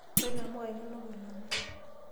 Koree inamuka inonok kilome?